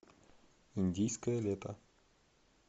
индийское лето